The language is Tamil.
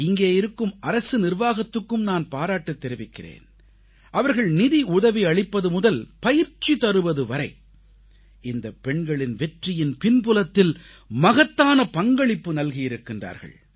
இங்கே இருக்கும் அரசு நிர்வாகத்துக்கும் நான் பாராட்டுத் தெரிவிக்கிறேன் அவர்கள் நிதியுதவியளிப்பது முதல் பயிற்சி தருவது வரை இந்தப் பெண்களின் வெற்றியின் பின்புலத்தில் மகத்தான பங்களிப்பு நல்கியிருக்கிறார்கள்